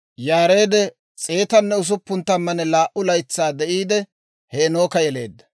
Yaareed 162 laytsaa de'iide, Heenooka yeleedda;